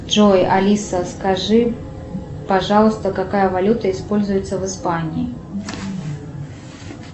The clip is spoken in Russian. джой алиса скажи пожалуйста какая валюта используется в испании